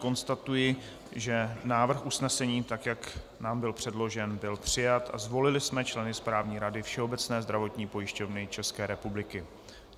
Konstatuji, že návrh usnesení, tak jak nám byl předložen, byl přijat a zvolili jsme členy Správní rady Všeobecné zdravotní pojišťovny České republiky.